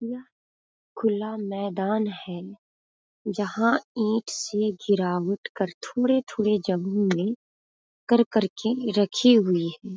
यह खुला मैदान है जहाँ ईट से गिरावट कर थोड़े -थोड़े जमीन में कर-कर के रखी हुई है ।